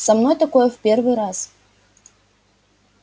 со мной такое в первый раз